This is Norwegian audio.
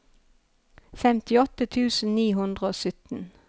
femtiåtte tusen ni hundre og sytten